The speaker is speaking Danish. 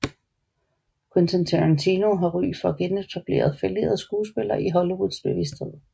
Quentin Tarantino har ry for at genetablere fallerede skuespillere i Hollywoods bevidsthed